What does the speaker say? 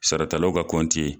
Sara talaw ka kɔnti ye.